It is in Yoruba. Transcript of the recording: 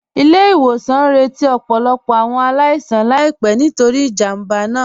Ilẹ̀-ìwòsàn ñ rẹ̀tí ọ̀pọ̀lọ̀pọ̀ awọn aláìsàn láìpẹ̀ nítorí ìjámbá náà